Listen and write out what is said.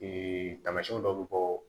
taamasiyɛnw dɔ bɛ bɔ